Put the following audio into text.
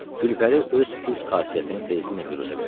Gülpəri öz pis xasiyyətini tezliklə büruzə verdi.